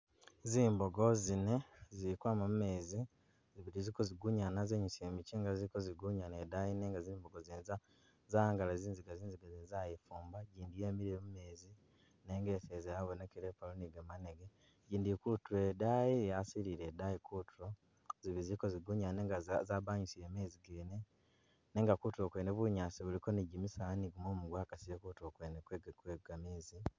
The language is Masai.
Zimbogo zine zili kwama mumeezi ziliko zigunyana zenyusile michinga ziliko zigunyana daayi nenga zimbogo zene za'angala zinziga, zinziga zene zayifumba i'jindi yemile mumeezi nenga eseza yabonekele ko ni gamanege, i'jindi ili kutuule daayi yasilile daayi kutuulo zibili ziliko zigunyana nenga za zabanyisile meezi gene nenga kutuulo kuliko kwene bunyaasi buliko ni jimisaala ni gumumu gwaksile kutuulo gwene gwe gameezi